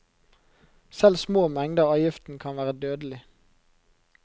Selv små mengder av giften kan være dødelig.